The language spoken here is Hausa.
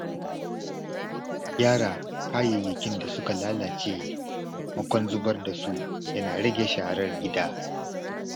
Gyara kayayyakin da suka lalace maimakon zubar da su yana rage sharar gida.